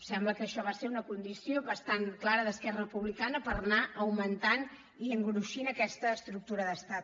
sembla que això va ser una condició bastant clara d’esquerra republicana per anar augmentant i engruixint aquesta estructura d’estat